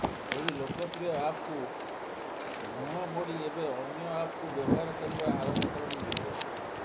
ଏହି ଲୋକପ୍ରିୟ ଆପ୍କୁ ମୁହଁ ମୋଡି ଏବେ ଅନ୍ୟ ଆପ୍କୁ ବ୍ୟବହାର କରିବା ଆରମ୍ଭ କଲେଣି ୟୁଜର